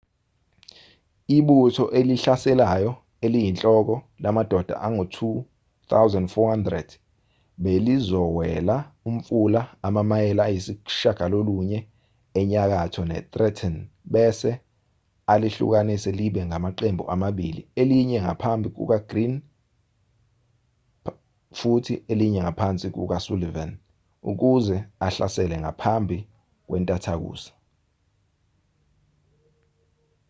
ibutho elihlaselayo eliyinhloko lamadoda angu-2,400 belizowela umfula amamayela ayisishiyagalolunye enyakatho netrenton bese alihlukanise libe amaqembu amabili elinye ngaphansi kukagreene futhi elinye ngaphansi kukasullivan ukuze ahlasele ngaphambi kwentathakusa